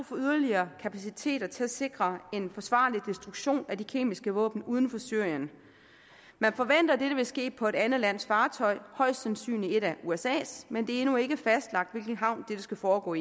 for yderligere kapaciteter til at sikre en forsvarlig destruktion af de kemiske våben uden for syrien man forventer at dette vil ske på et andet lands fartøj højst sandsynligt på et af usas men det er endnu ikke fastlagt i hvilken havn dette skal foregå